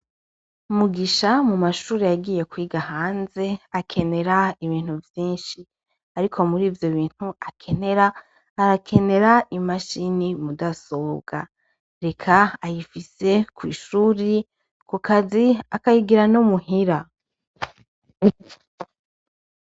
Mugisha mu mashuri yagiye kwiga hanze bisaba ibintu vyishi ariko murivyo bintu akenera arakenera imashine mu dasobwa eka ayifise kw'ishuri, ku kazi akayigira no muhira.